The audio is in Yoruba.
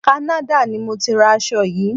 Canada ni mọ tí ra aṣo yìí.